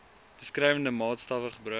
beskrywende maatstawwe gebruik